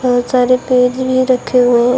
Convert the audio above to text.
बहुत सारे पेज भी रखे हुए हैं।